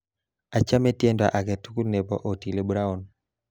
Achame tiendo aketugul nebo Otile Brown